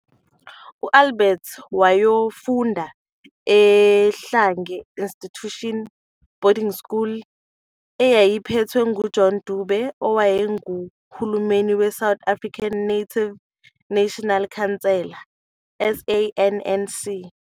Albert wayakofunda e-Ohlange Institution Boarding School eyayiphethwe ngu-John Dube owayenguhulumeni we-South African Native National Council, SANNC.